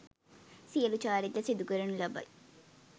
සියලු චාරිත්‍ර සිදු කරනු ලබයි